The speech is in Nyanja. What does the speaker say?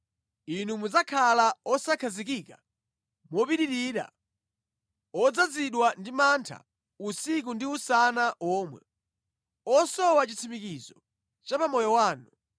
Inu mudzakhala osakhazikika mopitirira, odzazidwa ndi mantha usiku ndi usana womwe, osowa chitsimikizo cha pa moyo wanu.